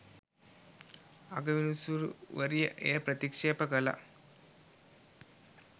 අගවිනිසුරුවරිය එය ප්‍රතික්‍ෂෙප කළා